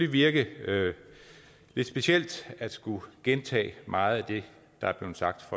virke lidt specielt at skulle gentage meget af det der er blevet sagt